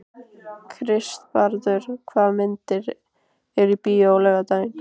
Kristvarður, hvaða myndir eru í bíó á laugardaginn?